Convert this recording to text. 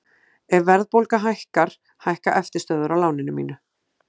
Ef verðbólga hækkar hækka eftirstöðvar á láninu mínu.